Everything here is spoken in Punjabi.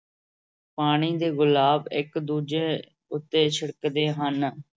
ਪਾਣੀ ਦੇ ਗੁਲਾਬ ਇੱਕ ਦੂਜੇ ਉੱਤੇ ਛਿੜਕਦੇ ਹਨ।